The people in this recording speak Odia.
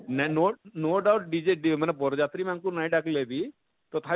ନେ no no doubt dj ଦିଏ ମାନେ ବର ଯାତ୍ରୀ ମାନକୁ ନାଇଁ ଡା଼କଲେ ବି ଥତା ବି